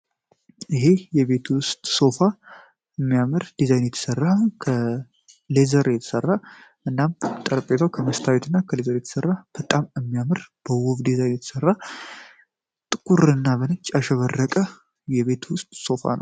የቤት ውስጥ ሶፋ በሚያምረ ዲዛይን የተሰራ እና የተሰራ ጥቁር እንዳሸባረቀ የቤት ውስጥ ሶፋ ነው።